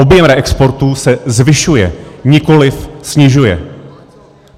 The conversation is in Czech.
Objem reexportů se zvyšuje, nikoliv snižuje.